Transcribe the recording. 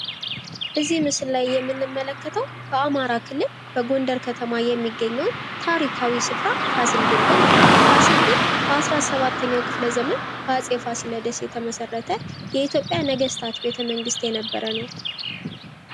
እዚህ ምስል ላይ የምንመለከተው በአማራ ክልል በጎንደር ከተማ የሚገኘውን ታሪካዊ ስፍራ ፋሲል ግንብ ነው። ፋሲል ግንብ በ 17 ኛው ክፍለ ዘመን በአጼ ፋሲለደስ የተመሠረተ የኢትዮጵያ ነገስታት ቤተ መንግስት የነበረ ነው።